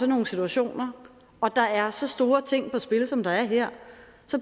nogle situationer og der er så store ting på spil som der er her